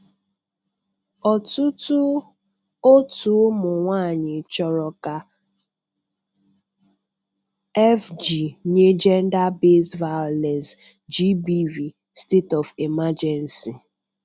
Ọtụtụ òtù ụmụ nwaanyị chọrọ ka FG nye gender based violence GBV 'state-of-emergency'.